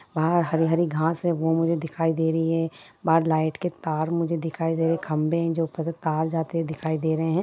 बाहर हरी - हरी घास है वो मुझे दिखाई दे रही है बाहर लाइट के तार मुझे दिखाई दे रहे है खम्भे है जो ऊपर से तार जाते हुए दिखाई दे रहे है।